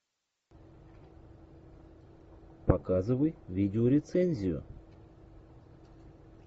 показывай видеорецензию